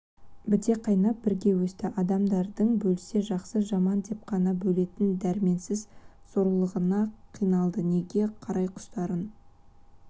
біте қайнап бірге өсті адамдарды бөлсе жақсы-жаман деп қана бөлетін дәрменсіз сорлылығына қиналды неге қараиқұстарын